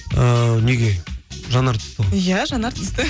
ііі неге жанар түсті ғой иә жанар түсті